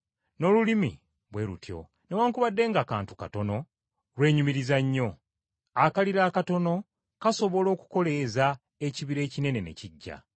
N’olulimi bwe lutyo, newaakubadde nga kantu katono, lwenyumiriza nnyo. Akaliro akatono kasobola okukoleeza ekibira ekinene ne kiggya.